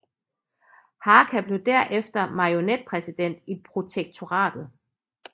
Hácha blev derefter marionetpræsident i protektoratet